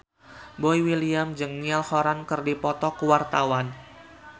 Boy William jeung Niall Horran keur dipoto ku wartawan